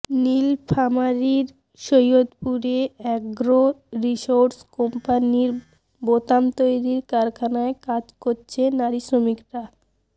নীলফামারীর সৈয়দপুরে agro resource কম্পানির বোতাম তৈরির কারখানায় কাজ করছে নারী শ্রমিকরা